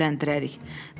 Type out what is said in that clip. Sonra evləndirərik.